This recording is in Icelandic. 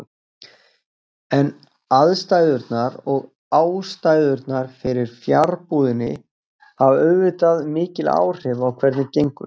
En aðstæðurnar og ástæðurnar fyrir fjarbúðinni hafa auðvitað mikil áhrif á hvernig gengur.